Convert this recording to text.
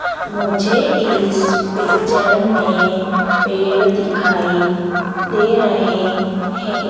मुझे इस पिक्चर में पेड़ दिखाई दे रहे हैं।